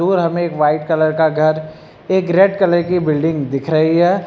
और हमें एक व्हाइट कलर का घर एक रेड कलर की बिल्डिंग दिख रही है।